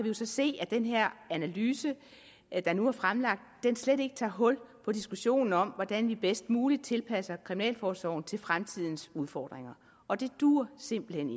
jo så se at den her analyse der nu er fremlagt slet ikke tager hul på diskussionen om hvordan vi bedst muligt tilpasser kriminalforsorgen til fremtidens udfordringer og det duer simpelt hen